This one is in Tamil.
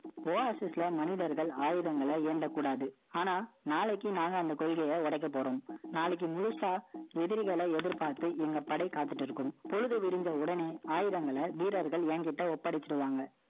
Oasis ல, மனிதர்கள், ஆயுதங்களை, எந்த கூடாது. ஆனா, நாளைக்கு, நாங்க, அந்த கொள்கையை, உடைக்க போறோம் நாளைக்கு முழுசா, எதிரிகளை எதிர்பார்த்து, இவங்க படை காத்துட்டு இருக்கும். பொழுது விரிந்த உடனே, ஆயுதங்களை, வீரர்கள் என்கிட்ட ஒப்படைச்சிடுவாங்க.